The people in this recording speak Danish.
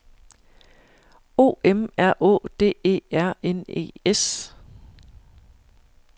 O M R Å D E R N E S